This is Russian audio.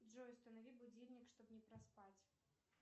джой установи будильник чтобы не проспать